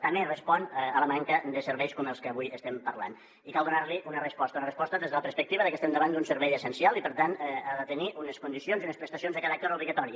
també respon a la manca de serveis com els que avui estem parlant i cal donar hi una resposta una resposta des de la perspectiva de que estem davant d’un servei essencial i per tant ha de tenir unes condicions i unes prestacions de caràcter obligatori